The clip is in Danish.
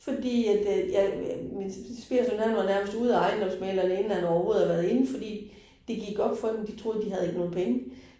Fordi at øh ja min svigersøn han var nærmest ude af ejendomsmægleren inden han overhovedet havde været inde fordi det gik op for dem de troede ikke de havde nogle penge